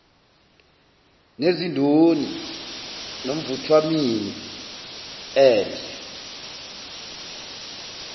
nezindoni nomvuthwamini endle